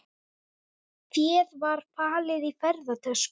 Féð var falið í ferðatöskum